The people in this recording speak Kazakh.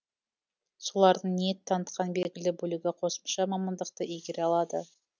солардың ниет танытқан белгілі бөлігі қосымша мамандықты игере алады